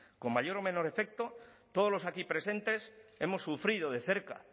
con mayor o menor efecto todos los aquí presentes hemos sufrido de cerca